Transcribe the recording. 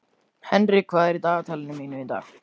Henrik, hvað er í dagatalinu mínu í dag?